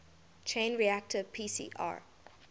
chain reaction pcr